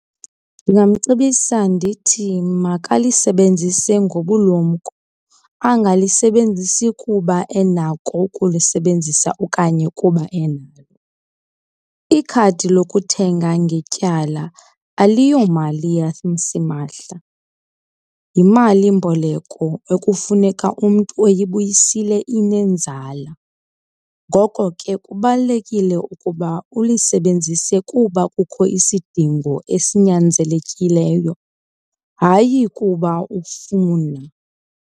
Ndingamcebisa ndithi makalisebenzise ngobulumko, angalisebenzisi kuba enako ukulisebenzisa okanye kuba enalo. Ikhadi lokuthenga ngetyala aliyomali yasimahla, yimalimboleko ekufuneka umntu eyibuyisile inenzala. Ngoko ke kubalulekile ukuba ulisebenzise kuba kukho isidingo esinyaenzekileyo, hayi kuba ufuna.